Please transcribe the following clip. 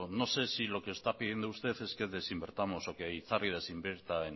no sé si lo que está pidiendo usted es que desinvirtamos o que itzarri desinvierta